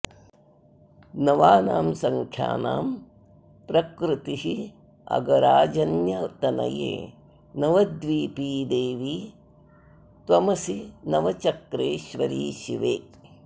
नवानां सङ्ख्यानां प्रकृतिरगराजन्यतनये नवद्वीपी देवी त्वमसि नवचक्रेश्वरि शिवे